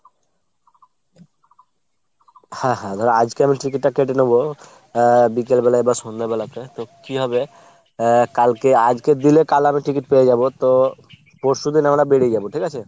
হ্যাঁ হ্যাঁ ধরো আজকে আমি ticket টা কেটে নিবো, আহ বিকালবেলা বা সন্ধ্যেবেলাতে তো কী হবে আহ কালকে আজকের দিলে কাল আমি ticket পেয়ে যাবো। তো পরশুদিন আমরা বেরিয়ে যাবো ঠিক আছে ?